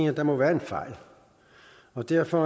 at der måtte være en fejl og derfor